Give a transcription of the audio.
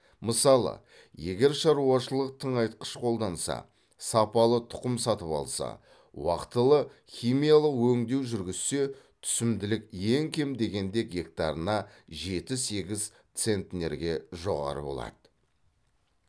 мысалы егер шаруашылық тыңайтқыш қолданса сапалы тұқым сатып алса уақтылы химиялық өңдеу жүргізсе түсімділік ең кем дегенде гектарына жеті сегіз центнерге жоғары болады